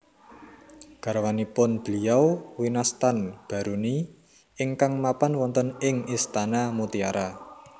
Garwanipun Beliau winastan Baruni ingkang mapan wonten ing istana mutiara